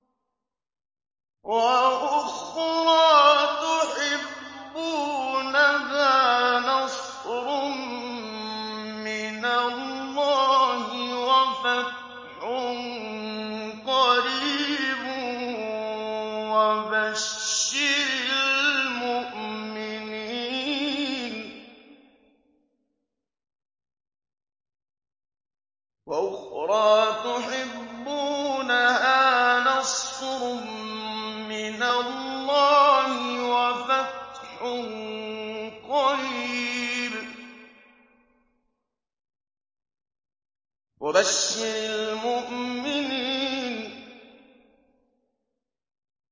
وَأُخْرَىٰ تُحِبُّونَهَا ۖ نَصْرٌ مِّنَ اللَّهِ وَفَتْحٌ قَرِيبٌ ۗ وَبَشِّرِ الْمُؤْمِنِينَ